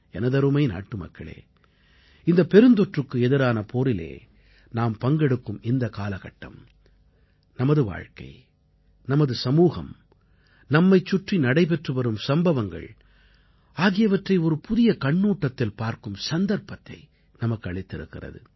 எனதருமை நாட்டுமக்களே இந்தப் பெருந்தொற்றுக்கு எதிரான போரிலே நாம் பங்கெடுக்கும் இந்த காலகட்டம் நமது வாழ்க்கை நமது சமூகம் நம்மைச் சுற்றி நடைபெற்றுவரும் சம்பவங்கள் ஆகியவற்றை ஒரு புதிய கண்ணோட்டத்தில் பார்க்கும் சந்தர்ப்பத்தை நமக்கு அளித்திருக்கிறது